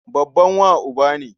Babban wa uba ne.